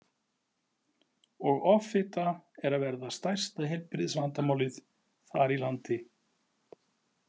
Og offfita er að verða stærsta heilbrigðisvandamálið þar í landi.